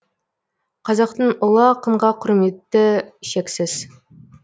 қазақтың ұлы ақынға құрметі шексіз